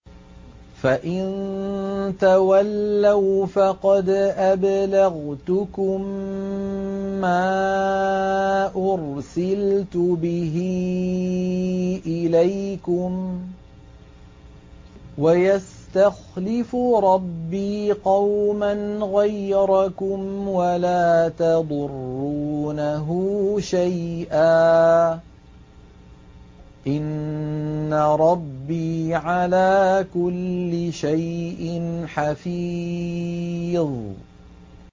فَإِن تَوَلَّوْا فَقَدْ أَبْلَغْتُكُم مَّا أُرْسِلْتُ بِهِ إِلَيْكُمْ ۚ وَيَسْتَخْلِفُ رَبِّي قَوْمًا غَيْرَكُمْ وَلَا تَضُرُّونَهُ شَيْئًا ۚ إِنَّ رَبِّي عَلَىٰ كُلِّ شَيْءٍ حَفِيظٌ